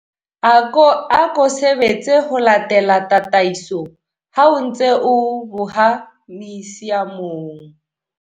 Ako sebetse ho latela tataiso ha o ntse o boha misiamong.